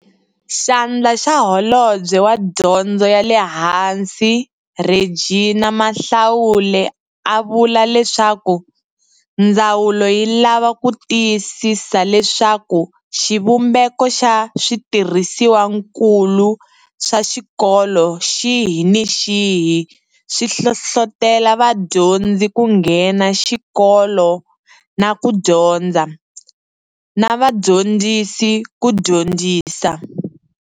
Xandla xa Holobye wa Dyondzo ya le Hansi Reginah Mhaule a vula leswaku ndzawulo yi lava ku tiyisisa leswaku xivumbeko xa switirhisiwankulu swa xikolo xihi ni xihi swi hlohlotela vadyondzi ku nghena xikolo na ku dyondza, na vadyondzisi ku dyondzisa.